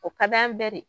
O ka d'an bɛɛ de ye